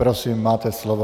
Prosím, máte slovo.